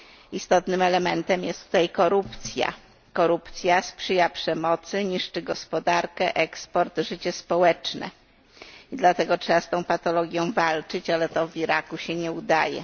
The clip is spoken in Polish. Istotnym elementem tutaj jest korupcja. Korupcja sprzyja przemocy, niszczy gospodarkę, eksport, życie społeczne, dlatego trzeba z tą patologią walczyć, ale to w Iraku się nie udaje.